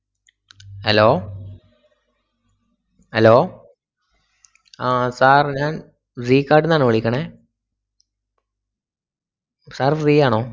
Hello hello ah sir ഞാൻ റീകാർഡ്ന്നാണ് വിളിക്കണേ sir free യാണോ